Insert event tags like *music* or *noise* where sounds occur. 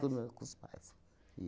*unintelligible* com os pais,